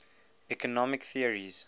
economic theories